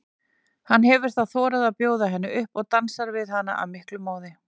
Hann hefur þá þorað að bjóða henni upp og dansar við hana af miklum móði.